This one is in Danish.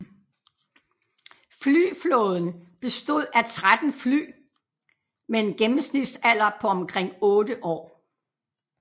Flyflåden bestod af 13 fly med en gennemsnitsalder på omkring 8 år